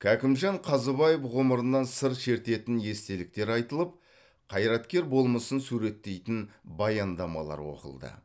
кәкімжан қазыбаев ғұмырынан сыр шертетін естеліктер айтылып қайраткер болмысын суреттейтін баяндамалар оқылды